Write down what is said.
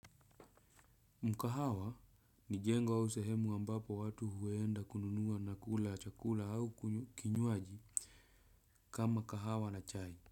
Mkahawa ni jengo au sehemu ambapo watu huenda kununuwa na kula chakula au kinywaji kama kahawa na chai.